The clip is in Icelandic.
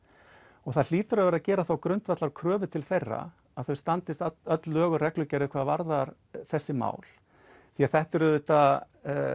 og það hlýtur að verða að gera þá grundvallarkröfu til þeirra að þau standist öll lög og reglugerðir hvað varðar þessi mál því að þetta eru auðvitað